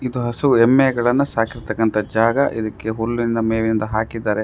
ಇದು ಹಸು ಎಮ್ಮೆಗಳನ್ನ ಸಾಕಿರ್ತಕ್ಕಂತಹ ಜಾಗ ಇದಕ್ಕೆ ಹುಲ್ಲಿನ ಮೇವಿನದು ಹಾಕಿದ್ದಾರೆ.